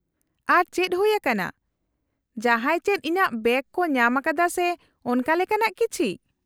-ᱟᱨᱚ ᱪᱮᱫ ᱦᱩᱭ ᱟᱠᱟᱱᱟ? ᱡᱟᱦᱟᱸᱭ ᱪᱮᱫ ᱤᱧᱟᱹᱜ ᱵᱮᱜᱽ ᱠᱚ ᱧᱟᱢ ᱟᱠᱟᱫᱟ ᱥᱮ ᱚᱱᱠᱟ ᱞᱮᱠᱟᱱᱟᱜ ᱠᱤᱪᱷᱤ ?